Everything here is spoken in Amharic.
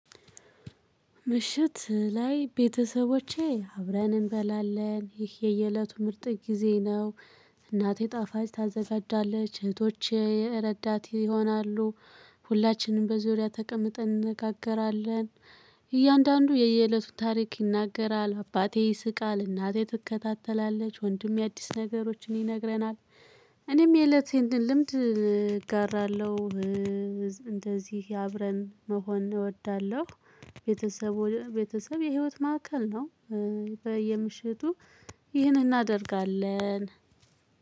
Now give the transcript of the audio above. ምሽት ላይ ቤተሰቦቼ አብረን እንበላለን። ይህ የየለቱ ምርጥ ጊዜ ነው። እናቴ ጣፋጭ ታዘጋጃለች። እህቶቼ ረዳት ይሆናሉ። ሁላችንም በዙሪያ ተቀምጠን እንነጋገራለን። እያንዳንዱ የየእለቱን ታሪክ ይናገራል። አባቴ ይስቃል። እናቴ ትከታተላለች። ወንድሜ አዲስ ነገሮችን ይነግረናል። እኔም የእለቴን ልምድ እጋራለሁ። እንደዚህ አብረን መሆን እወዳለሁ። ቤተሰብ ወደ ቤተሰብ የህይወት ማዕከል ነው። በየምሽቱ ይህንን እናደርጋለን።